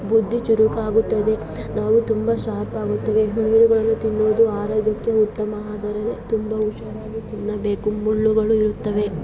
ಬುದ್ಧಿ ಚುರುಕಾಗುತ್ತದೆ ನಾವು ತುಂಬಾ ಶಾರ್ಪ್ ಆಗುತ್ತೇವೆ. ಮೀನು ತಿನ್ನುವುದು ತುಂಬಾ ಆರೋಗ್ಯ ಉತ್ತಮ ಆದರೆ ಮೀನು ತಿನ್ನುವಾಗ ಹುಷಾರಾಗಿ ತಿನ್ನಬೇಕು ಮುಳ್ಳುಗಳು ಇರುತ್ತದೆ.